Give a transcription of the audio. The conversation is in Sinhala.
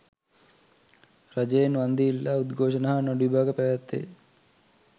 රජයෙන් වන්දි ඉල්ලා උද්ඝෝෂණ හා නඩුවිභාග පැවැත් වේ